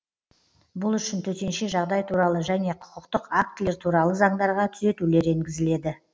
бұл үшін төтенше жағдай туралы және құқықтық актілер туралы заңдарға түзетулер енгізіледі